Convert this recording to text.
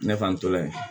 Ne fa n tora yen